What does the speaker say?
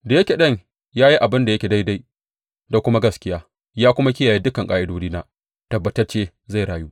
Da yake ɗan ya yi abin da yake daidai da kuma gaskiya, ya kuma kiyaye dukan ƙa’idodina, tabbatacce zai rayu.